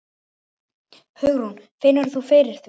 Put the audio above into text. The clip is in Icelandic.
Hugrún: Finnur þú fyrir því?